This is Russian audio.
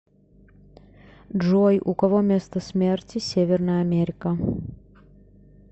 джой у кого место смерти северная америка